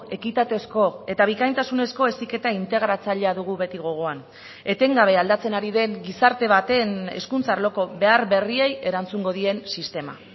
ekitatezko eta bikaintasunezko heziketa integratzailea dugu beti gogoan etengabe aldatzen ari den gizarte baten hezkuntza arloko behar berriei erantzungo dien sistema